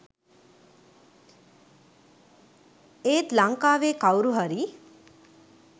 එත් ලංකාවේ කව්රු හරි